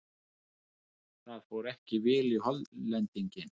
Það fór ekki vel í Hollendinginn.